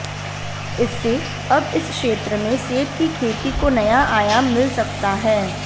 इससे अब इस क्षेत्र में सेब की खेती को नया आयाम मिल सकता है